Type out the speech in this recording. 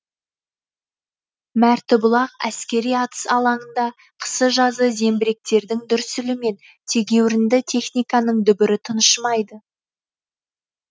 мәртібұлақ әскери атыс алаңында қысы жазы зеңбіректердің дүрсілі мен тегеурінді техниканың дүбірі тыншымайды